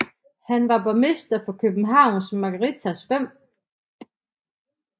Han var borgmester for Københavns Magistrats 5